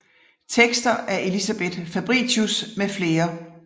Tekster af Elisabeth Fabritius med flere